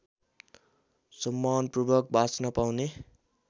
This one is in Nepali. सम्मानपूर्वक बाँच्न पाउने